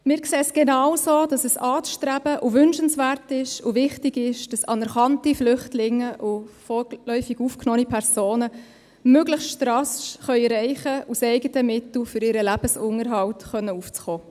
Wir sehen es genauso, dass es anzustreben und wünschenswert und wichtig ist, dass anerkannte Flüchtlinge und vorläufig aufgenommene Personen möglichst rasch erreichen können, aus eigenen Mitteln für ihren Lebensunterhalt aufzukommen.